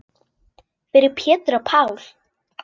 Fyrir Pétur og Pál.